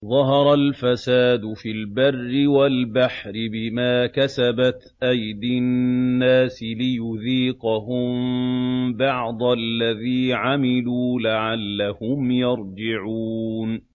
ظَهَرَ الْفَسَادُ فِي الْبَرِّ وَالْبَحْرِ بِمَا كَسَبَتْ أَيْدِي النَّاسِ لِيُذِيقَهُم بَعْضَ الَّذِي عَمِلُوا لَعَلَّهُمْ يَرْجِعُونَ